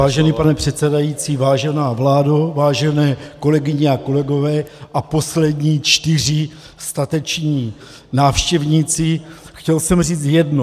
Vážený pane předsedající, vážená vládo, vážené kolegyně a kolegové a poslední čtyři stateční návštěvníci , chtěl jsem říct jedno.